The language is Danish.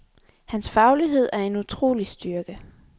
Hans faglighed er en utrolig styrke.